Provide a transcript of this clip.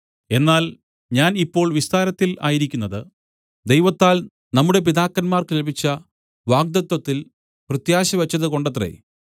എന്നാൽ ഞാൻ ഇപ്പോൾ വിസ്താരത്തിൽ ആയിരിക്കുന്നത് ദൈവത്താൽ നമ്മുടെ പിതാക്കന്മാർക്ക് ലഭിച്ച വാഗ്ദത്തത്തിൽ പ്രത്യാശ വെച്ചത് കൊണ്ടത്രേ